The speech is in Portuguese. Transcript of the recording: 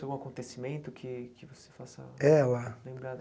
Algum acontecimento que que você faça Ela lembrar dela?